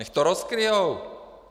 Nechť to rozkryjí!